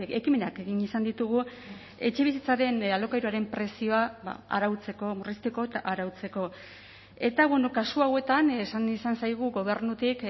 ekimenak egin izan ditugu etxebizitzaren alokairuaren prezioa arautzeko murrizteko eta arautzeko eta kasu hauetan esan izan zaigu gobernutik